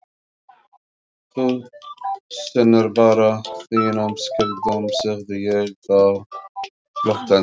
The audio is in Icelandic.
Þú sinnir bara þínum skyldum, segði ég þá glottandi.